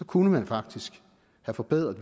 kunne man faktisk have forbedret